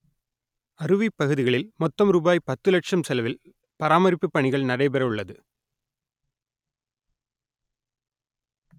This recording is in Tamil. அருவி பகுதிகளில் மொத்தம் ரூபாய் பத்து லட்சம் செலவில் பராமரிப்பு பணிகள் நடைபெற உள்ளது